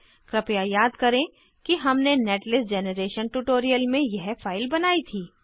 कृपया याद करें कि हमने नेटलिस्ट जैनरेशन ट्यूटोरियल में यह फाइल बनाई थी